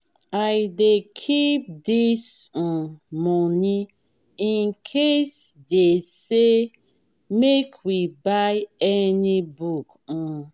i dey keep dis um moni incase dey say make we buy any book. um